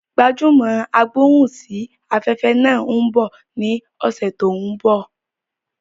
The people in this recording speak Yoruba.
Gbajúmò agbóhùn sí afẹ́fẹ́ náà ń bọ ní ọ̀sẹ̀ tó ń bọ̀